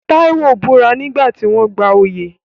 Taiwo búra nígbà tí wọ́n ń gba oyè.